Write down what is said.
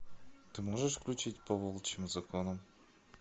ты можешь включить по волчьим законам